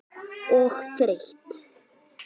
Og þreytt.